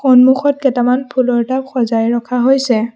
সন্মুখত কেইটামান ফুলৰ টাব সজাই ৰখা হৈছে।